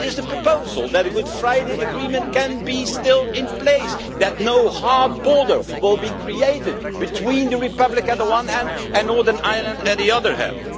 What is the proposal so that the Good Friday Agreement can be kept in place and that no hard border will be created between the Republic on the one hand and Northern Ireland on the other hand?